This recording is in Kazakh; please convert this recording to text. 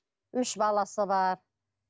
үш баласы бар